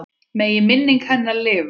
Megi minning hennar lifa.